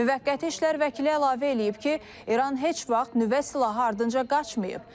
Müvəqqəti işlər vəkili əlavə eləyib ki, İran heç vaxt nüvə silahı ardınca qaçmayıb.